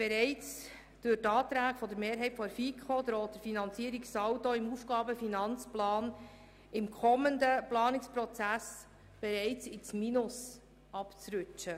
Bereits durch die Anträge der FiKoMehrheit droht der Finanzierungssaldo im AFP im kommenden Planungsprozess ins Minus abzurutschen.